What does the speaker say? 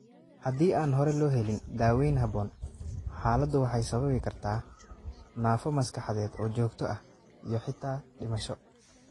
Haddii aan hore loo helin, daaweyn habboon, xaaladdu waxay sababi kartaa naafo maskaxeed oo joogto ah iyo xitaa dhimasho.